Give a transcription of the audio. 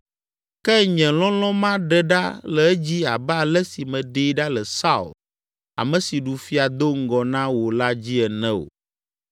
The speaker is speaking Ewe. ke nye lɔlɔ̃ maɖe ɖa le edzi abe ale si meɖee ɖa le Saul, ame si ɖu fia do ŋgɔ na wò la dzi ene o.